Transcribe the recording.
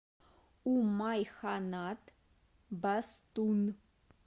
умайханат бастун